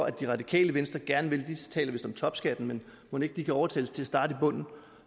at det radikale venstre gerne vil de taler vist om topskatten men mon ikke de kan overtales til at starte i bunden